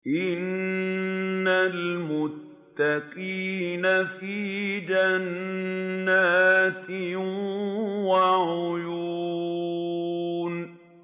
إِنَّ الْمُتَّقِينَ فِي جَنَّاتٍ وَعُيُونٍ